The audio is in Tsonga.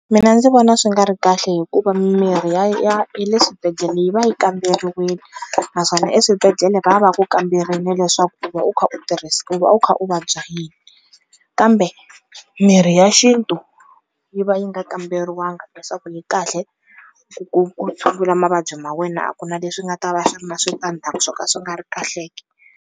Mina ndzi vona swi nga ri kahle hikuva mimirhi ya ya ya le swibedhlele yi va yi kamberiweni, naswona eswibedhlele va va ku kamberile leswaku ku va u kha u tirhisa u va u kha u vabya yini, kambe mirhi ya xintu yi va yi nga kamberiwangi leswaku yi kahle ku ku ku tshungula mavabyi ma wena a ku na leswi nga ta va swi na switandzhaku swo ka swi nga ri kahle ke.